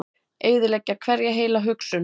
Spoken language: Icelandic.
Eyðileggja hverja heila hugsun.